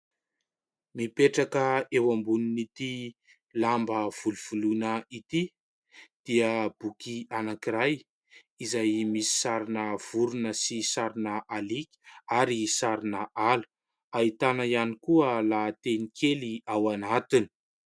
Mipetraka eo ambonin'ity lamba volovoloina ity dia boky anankiray izay misy sarina vorona sy sarina aliaka ary sarina ala. Ahitana ihany koa lahateny kely ao anatiny.